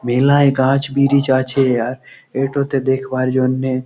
মেলায় গাছ ব্রিজ আছে আর এটো তে দেখবার জন্যে--